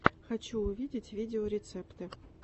хочу увидеть видеорецепты